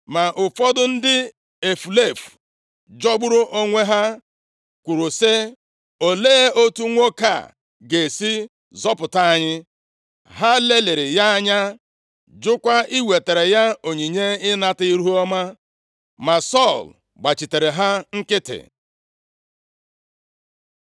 Ma ụfọdụ ndị efulefu jọgburu onwe ha kwuru sị, “Olee otu nwoke a ga-esi zọpụta anyị?” Ha lelịrị ya anya, jụkwa iwetara ya onyinye ịnata ihuọma. Ma Sọl gbachitere ha nkịtị.